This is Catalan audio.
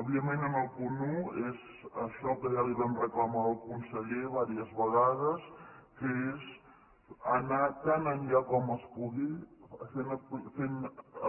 òbviament en el punt un és això que ja li vam reclamar al conseller diverses vegades que és anar tan enllà com es pugui